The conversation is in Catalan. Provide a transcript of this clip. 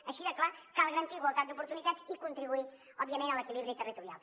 així de clar cal garantir igualtat d’oportunitats i contribuir òbviament a l’equilibri territorial